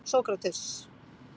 Sókrates